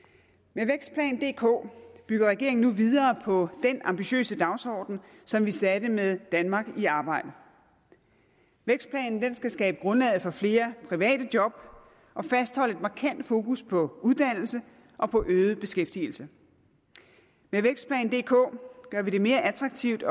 med vækstplan dk bygger regeringen nu videre på den ambitiøse dagsorden som vi satte med danmark i arbejde vækstplanen skal skabe grundlaget for flere private job og fastholde et markant fokus på uddannelse og på øget beskæftigelse med vækstplan dk gør vi det mere attraktivt